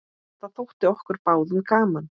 Það þótti okkur báðum gaman.